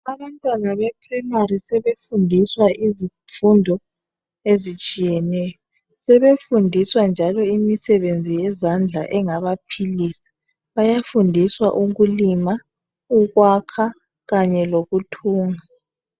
abantwana be primary sebefundiswa izifundo ezitshiyeneyo sebefundiswa njalo imisebenzi yezandla engabaphilisa bayafundiswa ukulima ukwakha kanye lokuthunga